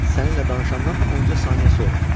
Səninlə danışandan onca saniyə sonra.